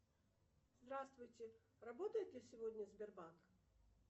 здравствуйте работает ли сегодня сбербанк